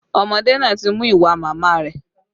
Ọmọdé náà ti mú ìwà màmá rẹ